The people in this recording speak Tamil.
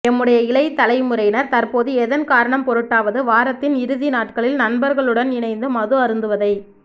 எம்முடைய இளைய தலைமுறையினர் தற்போது எதன் காரணம்பொருட்டாவது வாரத்தின் இறுதி நாட்களில் நண்பர்களுடன் இணைந்து மது அருந்துவதை